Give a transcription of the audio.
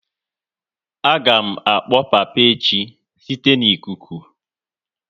A ga m akpọ papa echi site n'ikuku